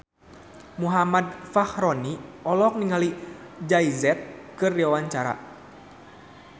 Muhammad Fachroni olohok ningali Jay Z keur diwawancara